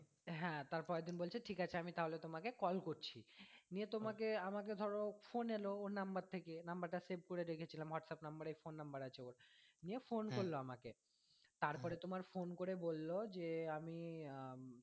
হ্যাঁ তার পরের দিন বলছে ঠিক আছে আমি তাহলে তোমাকে call করছি নিয়ে তোমাকে আমাকে ধরো phone এলো ওর number থেকে number টা save করে রেখেছিলাম whatsapp number এ phone number আছে ওর নিয়ে phone করলো আমাকে তারপরে তোমার phone করে বললো যে আমি আহ